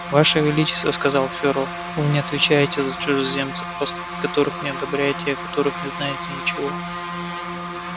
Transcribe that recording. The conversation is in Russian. ваше величество сказал фёрл вы не отвечаете за чужеземцев поступки которых не одобряете и о которых не знаете ничего